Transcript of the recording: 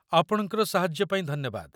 ଆପଣଙ୍କର ସାହାଯ୍ୟ ପାଇଁ ଧନ୍ୟବାଦ।